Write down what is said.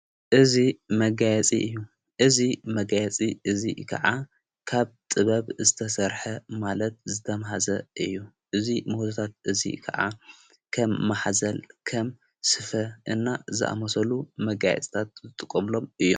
እዙይ መጋያፂ እዩ እዙ መጋያፂ እዙይ ከዓ ካብ ጥበብ ዝተሠርሐ ማለት ዝተምሃዘ እዩ እዙይ መወትታት እዙይ ከዓ ከም መሕዘል ፣ ከም ስፈ እና ዝኣመሰሉ መጋይጽታት ዝጥቖምሎም እዩ።